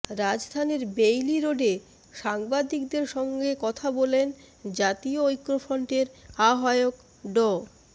রাজধানীর বেইলি রোডে সাংবাদিকদের সঙ্গে কথা বলেন জাতীয় ঐক্যফ্রন্টের আহ্বায়ক ড